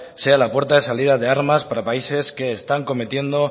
sea la puerta de salida de armas para países que están cometiendo